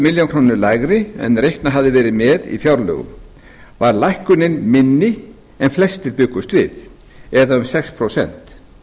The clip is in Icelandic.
milljóna króna lægri en reiknað hafði verið með í fjárlögum var lækkunin minni en flestir bjuggust við eða um sex prósent